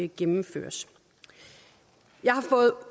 gennemføres jeg har fået